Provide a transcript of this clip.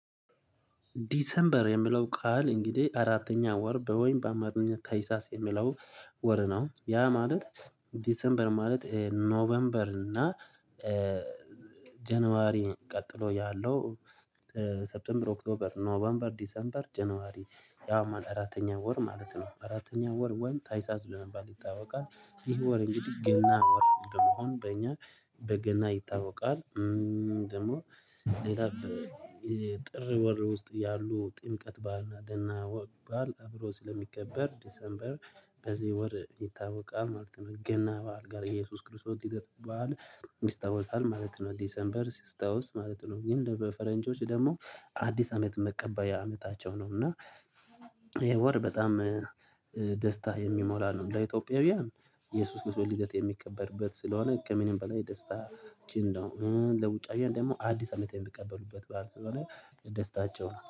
ዲሰምበር የሚለው ቃል እንግዲህ አራተኛ ወር በወይም በአማርኛ ታህሳስ የሚለው ወር ነው። ያ ማለት ዲሴምበር ማለት ኖቬምበር እና ጃነዋሪ ቀጥሎ ያለው ሴብተምበር ኦክቶበር ኖቬምበር ዲሴምበር ጃነዋሪ። ያው አራተኛ ወር ማለት ነው አራተኛ ወር ወንታይሳስ በመባል ይታወቃል። ይህ ወር እንግዲህ ገና ወር በመሆን በእኛ በገና ይታወቃል። ደግሞ ጥር ወር ውስጥ ያሉ ጥምቀት ባዓልና ገና በዓል አብሮ ስለሚከበር ዲሴምበር በዚህ ወር ይታወቃል ማለት ነው። ገና በዓል ጋር የኢየሱስ ክርስቶስ ሂደት በዓል ይታወሳል ማለት ነው። ዲሰንበር ሲታወስ ማለት ነው። ግን በፈረንጆች ደግሞ አዲስ አመት መቀበል አመታቸው ነው። እና ወር በጣም ደስታ የሚሞላ ነው። እንደ ኢትዮጵያውያን ኢየሱስ ክርስቶስ ልደት የሚከበርበት ስለሆነ ከምንም በላይ ደስታ ችን ነው። ለውጪ ሀገር ደግሞ አዲስ አመት የሚቀበሉበት በዓል ስለሆነ ደስታቸው ነው